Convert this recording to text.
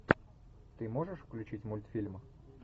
ты можешь включить мультфильм